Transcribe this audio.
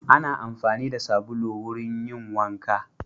Ana amfani da sabulu wurin yin wanka.